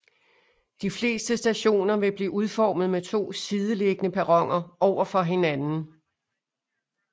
De fleste stationer vil blive udformet med to sideliggende perroner overfor hinanden